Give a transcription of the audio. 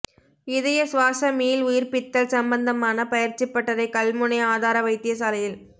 இதய சுவாச மீள் உயிர்ப்பித்தல் சம்பந்தமான பயிற்சிப் பட்டறை கல்முனை ஆதார வைத்தியசாலையில்